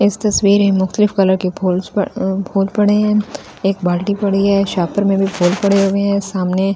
इस तस्‍वीर है मुकतलिब कलर के फूलस पड़े अ फूल पड़े है एक बाल्‍टी पड़ी है सापर में भी फूल पड़े हुए है सामने --